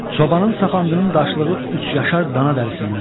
Çobanın sapandının daşlığı üç yaşar dana dərisindən.